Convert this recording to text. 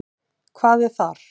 Hvað er þar?